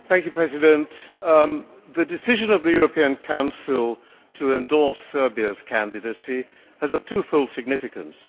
Mr President, the decision of the European Council to endorse Serbia's candidacy has a two fold significance.